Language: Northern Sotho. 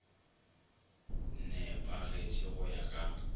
ne pagetše go ya ka